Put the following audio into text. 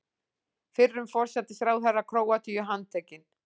Fyrrum forsætisráðherra Króatíu handtekinn